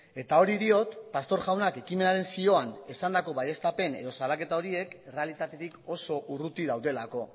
eta hori diot pastor jaunak ekimenaren zioan esandako baieztapen edo salaketa horiek errealitatetik oso urruti daudelako